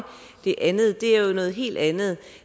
det andet er jo noget helt andet